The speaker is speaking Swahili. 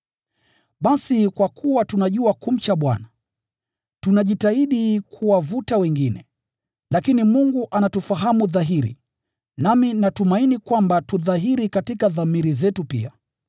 Basi, kwa kuwa tunajua kumcha Bwana, tunajitahidi kuwavuta wengine. Lakini Mungu anatufahamu dhahiri, nami natumaini kwamba tu dhahiri katika dhamiri zenu pia.